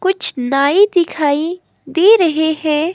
कुछ नायें दिखाई दे रहे हैं।